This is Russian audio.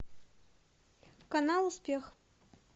канал успех